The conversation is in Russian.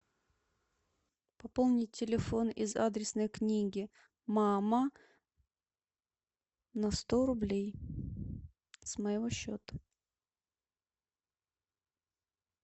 пополнить телефон из адресной книги мама на сто рублей с моего счета